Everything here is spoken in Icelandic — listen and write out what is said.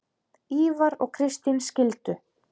Ívar og Kristín skildu.